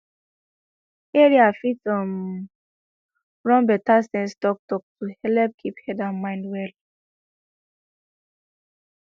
area fit um run better sense talktalk to helep keep head and mind well